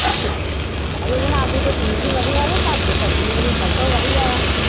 ਆਹ ਇਹਦੇ ਨਾਲ ਦੀ ਤਾ ਚੀਜ ਹੀ ਵਧੀਆਂ ਘਰਦੀ ਸੱਭ ਤੋ ਵਧੀਆਂ